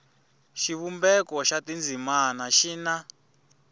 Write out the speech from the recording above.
xivumbeko xa tindzimana xi na